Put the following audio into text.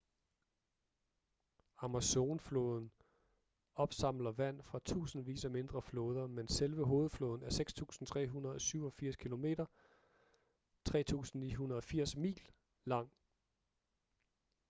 amazon-floden opsamler vand fra tusindvis af mindre floder men selve hovedfloden er 6.387 km 3.980 mil lang